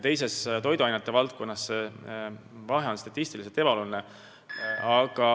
Teises valdkonnas, toiduainetööstuses, aga on vahe statistiliselt ebaoluline.